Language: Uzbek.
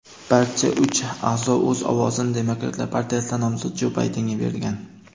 Barcha uch a’zo o‘z ovozini Demokratlar partiyasidan nomzod Jo Baydenga bergan.